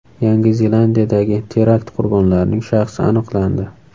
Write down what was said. Yangi Zelandiyadagi terakt qurbonlarining shaxsi aniqlandi.